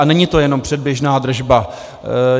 A není to jenom předběžná držba.